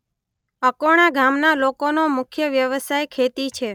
અકોણા ગામના લોકોનો મુખ્ય વ્યવસાય ખેતી છે.